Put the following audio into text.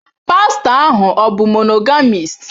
Pastọ ahụ ọ̀ bụ monogamis?